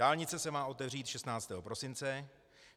Dálnice se má otevřít 16. prosince.